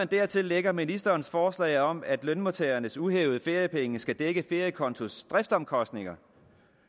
dertil lægger ministerens forslag om at lønmodtagernes uhævede feriepenge skal dække feriekontos driftsomkostninger